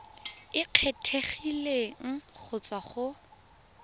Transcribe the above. e kgethegileng go tswa go